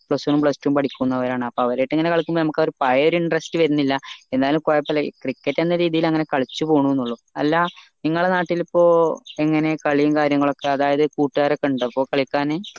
plus one plus two ഉം പടിക്കുന്നവരാണ് അപ്പൊ അവറായിട്ട് ഇങ്ങനെ കളിക്കുമ്പോ ആ ഒരു പഴയെയാ interest വെര്ന്നില്ല എന്നാലും കൊഴപ്പില്ല cricket എന്ന രീതിയിൽ അങ്ങനെ കളിച്ച് പോണുന്നേയുള്ളു അല്ല നിങ്ങള നാട്ടിൽ ഇപ്പൊ എങ്ങനെ കളിയും കാര്യങ്ങളുമൊക്കെ അതായത് കൂട്ടുകാരൊക്കെ ഇണ്ടോ ഇപ്പൊ കളിക്കാൻ